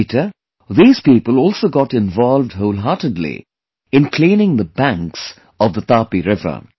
Later, these people also got involved wholeheartedly in cleaning the banks of the Tapiriver